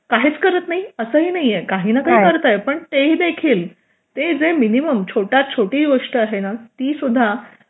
काहीच करत नाहीये असेही नाहीये काही ना काही करतंय पण तेही देखील जे मिनिमम छोटी गोष्ट आहे ना ती सुद्धा